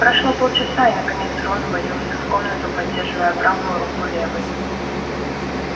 прошло полчаса и наконец рон ввалился в комнату поддерживая правую руку левой